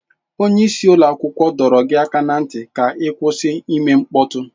Onye isi ụlọ akwụkwọ dọrọ gị aka ná ntị ka ị kwụsị ime mkpọtụ!